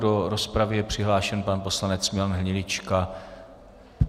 Do rozpravy je přihlášen pan poslanec Milan Hnilička.